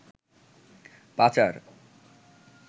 পাচার